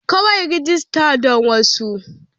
Kawai rajista don wasan.